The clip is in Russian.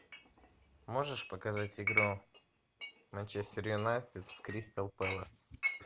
можешь показать игру манчестер юнайтед с кристал пэлас